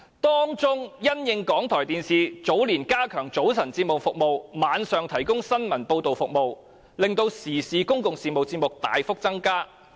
當中，因應港台電視早年加強早晨節目服務及晚上提供新聞報道服務，令時事及公共事務節目大幅增加。